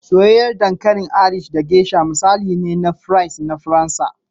Soyayyen dankalin Irish da geasha misali ne na fries na Faransa